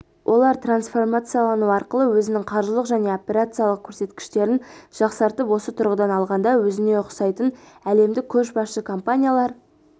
олар трансформациялану арқылы өзінің қаржылық және операциялық көрсеткіштерін жақсартып осы тұрғыдан алғанда өзіне ұқсайтын әлемдік көшбасшы компаниялар